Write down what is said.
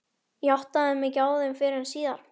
Ég áttaði mig ekki á þeim fyrr en síðar.